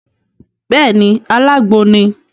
Béèni, alágbo ni